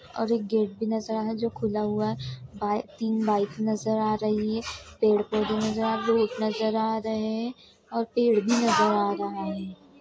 और एक गेट भी नजर आ रहा है जो खुला हुआ है। बाइ तीन बाइक नजर आ रही है पेड़-पौधे नजर आ धूप नजर आ रहे है और पेड़ भी नजर आ रहा है।